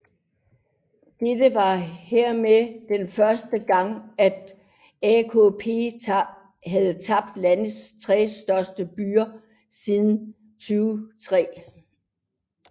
Dette var hermed den første gang at AKP havde tabt landets 3 største byer siden 2003